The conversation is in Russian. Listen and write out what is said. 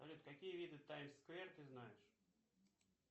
салют какие виды таймс сквер ты знаешь